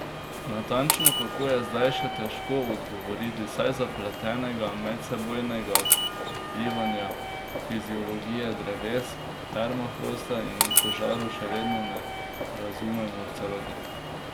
Natančno kako, je zdaj še težko odgovoriti, saj zapletenega medsebojnega vplivanja fiziologije dreves, permafrosta in požarov še vedno ne razumemo v celoti.